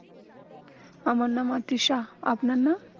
আমার নাম তৃষা আপনার নাম